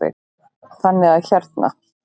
Þannig að hérna.